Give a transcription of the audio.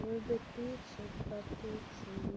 любит пиццу протухшую